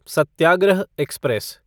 Satyagraha express